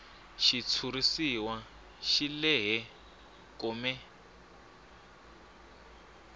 xitshuriwa xi lehe kome